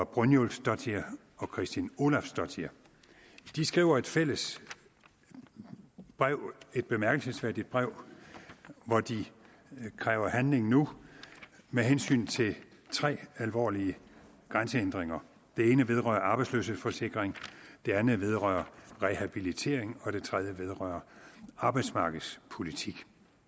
brynjulfsdottir og kristín ólafsdóttir de skriver et fælles brev et bemærkelsesværdigt brev hvor de kræver handling nu med hensyn til tre alvorlige grænsehindringer det ene vedrører arbejdsløshedsforsikring det andet vedrører rehabilitering og det tredje vedrører arbejdsmarkedspolitik